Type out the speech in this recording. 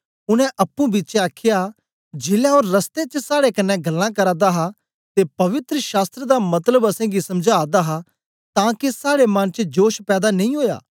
उनै अप्पुंपिछें आखया जेलै ओ रस्ते च साड़े कन्ने गल्लां करदा हा ते पवित्र शास्त्र दा मतलब असेंगी समझादा हा तां के साड़े मन च जोश पैदा नेई ओया